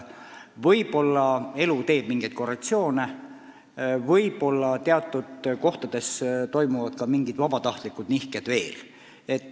Võib-olla elu teeb mingeid korrektsioone, võib-olla teatud kohtades toimuvad ka mingid vabatahtlikud nihked veel.